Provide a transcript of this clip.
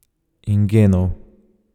In genov.